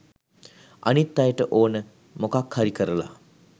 අනිත් අයට ඕන මොකක් හරි කරලා